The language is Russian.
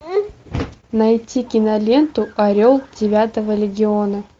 найти киноленту орел девятого легиона